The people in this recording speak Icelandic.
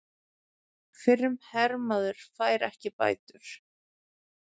Fyrrum hermaður fær ekki bætur